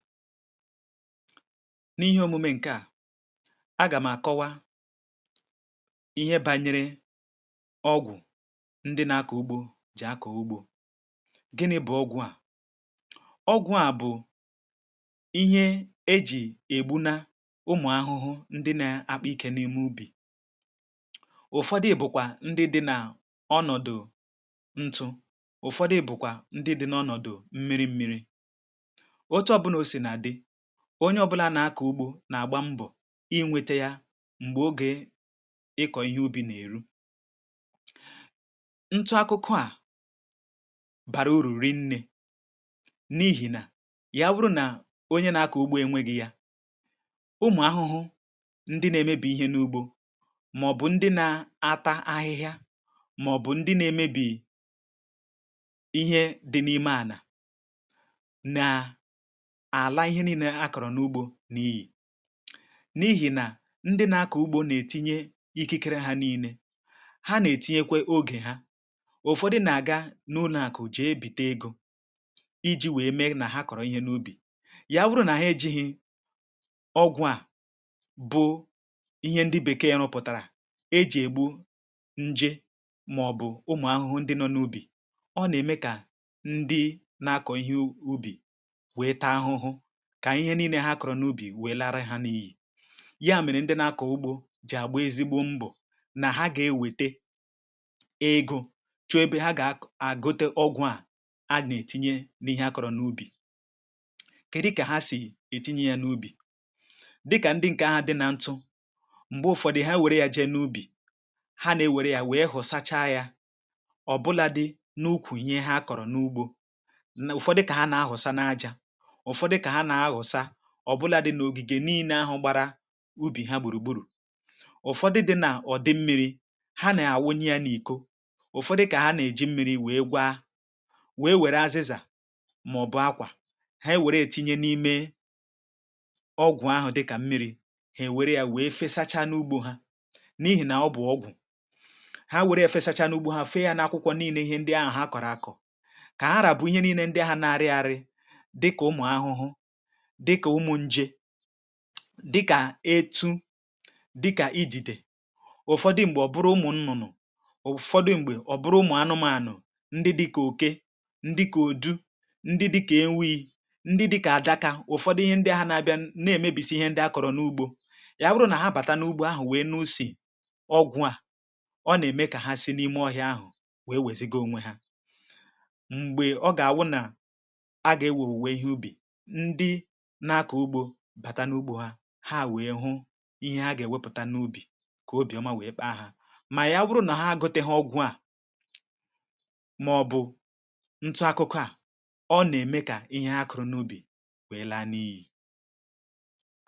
M’ihe omume nke à, agà m̀ àkọwa ihe bànyere ọgwụ̀ ndị na-akọ̀ ugbȯ jì akọ̀ ugbȯ. Gịnị̇ bụ̀ ọgwụ̇ à? ọgwụ̇ à bụ̀ ihe e jì ègbunà ụmụ̀ ahụhụ ndị na-akpọa ike n’ime ubì, ụ̀fọdụ bùkwà ndị dị̇ nà ọnọ̀dụ̀ ntụ, ụ̀fọdụ bùkwà ndị dị̇ n’ọnọ̀dụ̀ mmiri mmiri, otu ọbụna o sina dị, onye ọ̇bụ̇là nà-akọ̀ ugbȯ nà-àgba mbọ̀ inwėte ya m̀gbè ogė ịkọ̀ ihe ubi̇ nà-èru, ntu akụkụ ȧ bara urù rinnė n’ihì nà ya bụrụ nà onye nà-akọ̀ ugbȯ enwėghi̇ yȧ, ụmụ̀ ahụhụ ndị nȧ-ėmėbì ihe n’ugbȯ màọ̀bụ̀ ndị nȧ-ata ahịhịa màọ̀bụ̀ ndị nȧ-emebì ihe dị n’ime àlà na-ala ihe niile ha kọrọ n'ụgbọ n'iyi. N’ihì nà ndị na-akọ̀ ugbȯ nà-etinye ikikere ha niile, ha nà-ètinyekwe ogè ha, ụ̀fọdụ nà-àga n’ụlọ̀ àku jèe bìte egȯ, iji̇ wee mee nà ha kọ̀rọ̀ ihe n’ubì, ya wụrụ nà hà ejighị ọgwụ̇ à bụ ihe ndị bèkee rupụ̀tàrà ejì ègbu njė màọ̀bụ̀ ụmụ̀ ahụhụ ndị nọ n’ubì, ọ nà-ème kà ndị na-akọ̀ ihe ubì wee taa ahụhụ, kà ihe nii̇nė ha kọ̀rọ̀ n’ubì wèe lara ha n’iyì, ya mèrè ndị na-akọ̀ ugbo jì àgba ezigbo mbọ̀ nà ha gà-ewète ego chọ̀ọ ebe ha gà-ako egote ọgwụ̇ a anà-ètinye n’ihe akọ̀rọ̀ n’ubì. kèdị kà ha sì ètinye yȧ n’ubì dịkà ndị ǹkè ahụ̀ dị nà ntụ, m̀gbè ụ̀fọdụ̀ ha wère ya jee n’ubì ha nà-èwère ya wèe hụ̀sacha yȧ ọ̀bụlȧdị̇ n’ukwù ihe ha kọ̀rọ̀ n’ugbȯ, ụ̀fọdụ kà ha nà-ahụ̀sa n’aja, ụfọdụ ka ha ahusa ọ bụla dị n’ogige niine ahụ gbara ubì ha gburugburu. ụfọdụ dị nà ọ̀ dị mmi̇ri ha nà àwunye ya n’ịkọ̀, ụfọdụ kà ha nà èji mmiri̇ wee gwa, wee wère azịzà màọ̀bụ̀ akwà ha e wère ètinye n’ime ọgwụ̀ ahụ̀ dịkà mmiri̇, ha èwère ya wee fesacha n’ugbȯ ha n’ihì nà ọ bụ̀ ọgwụ̀ ha wère ya fesacha n’ugbȯ ha fee ya n’akwụkwọ niine ihe ndị ahụ̀ ha kọ̀rọ̀ akọ̀, kà ha ra bụ̇ ihe niine ndị ahụ̀ na-arị arị dị kà ụmụ̀ ahụhụ, dịkà umù nje, dịkà etu, dịkà idìdè, ụ̀fọdụ m̀gbè ọ̀ bụrụ ụmụ̀ nnụ̀nụ̀, ụ̀fọdụ m̀gbè ọ̀ bụrụ ụmụ̀ anụmȧnụ̀ ndị dị̇ kà oke, ndị kà ùdu, ndị dị̇kà ewii, ndị dị̇kà adaka, ụ̀fọdụ ihe ndị ha nȧ-abịa nà-èmebìsi ihe ndị akọ̀rọ̀ n’ugbȯ, ị̀ abụrụ nà ha bàta n’ugbȯ ahụ̀ wèe nà-usi ọgwụ̀ a, ọ nà-ème kà ha si n’ime ọhịa ahụ̀ wèe wèziga onwe ha. Mgbè ọ gà-àwụ nà a gà-ewè owuwe ihe ubì, ndị na-akọ ụgbọ aga n'ụgbọ ha, ha wèe hụ ihe ha gà-èwepụ̀ta n’ubì kà obì ọma wee kpa ha, mà ya ọ bụrụ nà ha egoteghị̇ ọgwụ̇ à màọ̀bụ̀ ntụ akụkụ̇ à, ọ nà-ème kà ihe ha kụ̀rụ̀ n’ubì wèe laa n’iyì.